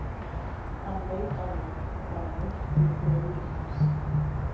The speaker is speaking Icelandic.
Hann leit á mig og það var myrkur í augum hans.